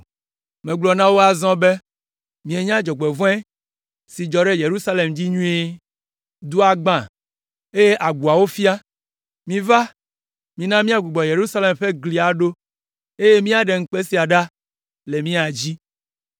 Megblɔ na wo azɔ be, “Mienya dzɔgbevɔ̃e si dzɔ ɖe Yerusalem dzi nyuie. Dua gbã, eye agboawo fia. Miva, mina míagbugbɔ Yerusalem ƒe gli aɖo, eye míaɖe ŋukpe sia ɖa le mía dzi!”